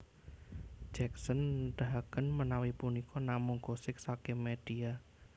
Jacksen nedahaken menawi punika namung gosip saking medhia